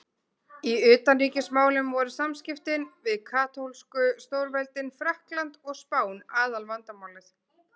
Í utanríkismálum voru samskiptin við katólsku stórveldin Frakkland og Spán aðalvandamálið.